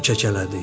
O kəkələdi.